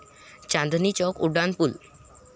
चांदणी चौक उड्डाणपूल